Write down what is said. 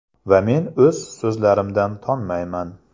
Va men o‘z so‘zlarimdan tonmayman.